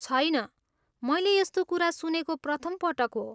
छैन, मैले यस्तो कुरा सुनेको प्रथम पटक हो!